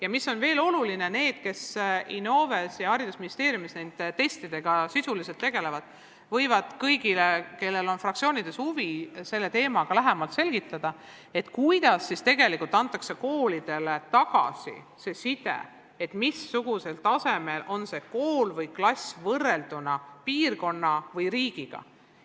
Oluline on veel see, et need, kes Innoves ja haridusministeeriumis nende testidega sisuliselt tegelevad, võivad kõigile, kellel on fraktsioonides selle teema vastu huvi, lähemalt selgitada, kuidas antakse koolidele tagasisidet selle kohta, missugusel tasemel on see kool või klass võrrelduna teiste piirkonna või riigi koolidega.